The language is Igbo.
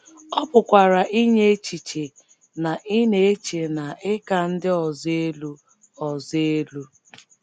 Ọ pụkwara inye echiche na ị na - eche na ị ka ndị ọzọ elu ọzọ elu.